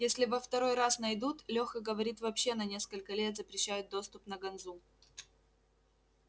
если во второй раз найдут леха говорит вообще на несколько лет запрещают доступ на ганзу